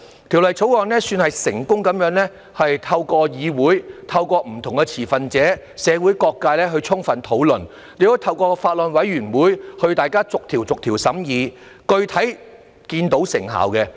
《條例草案》算是成功地透過議會、不同持份者及社會各界充分討論，亦透過法案委員會進行逐條審議，具體看到成效。